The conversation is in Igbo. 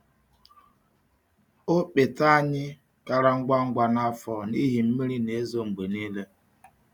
Ọkpete anyị kara ngwa ngwa n’afọ a n’ihi mmiri na-ezo mgbe niile.